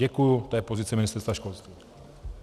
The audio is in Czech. Děkuji, to je pozice Ministerstva školství.